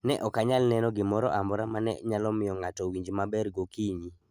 Ne ok anyal neno gimoro amora ma ne nyalo miyo ng'ato owinj maber gokinyi.